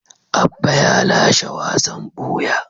Abba ya lashe wasan buya.